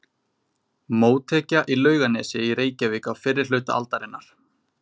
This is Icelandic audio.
Mótekja í Laugarnesi í Reykjavík á fyrri hluta aldarinnar.